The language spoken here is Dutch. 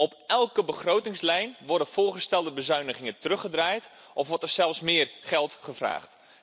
Op elke begrotingslijn worden voorgestelde bezuinigingen teruggedraaid of wordt er zelfs meer geld gevraagd.